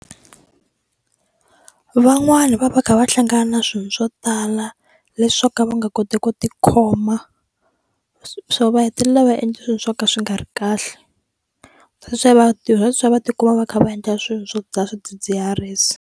Van'wani va va kha va hlangana na swilo swo tala leswi swo ka va nga koti ku tikhoma swo va hetelela va endla swilo swo ka swi nga ri kahle that's why va that's why va tikuma va kha va endla swilo swo dzaha swidzidziharisi.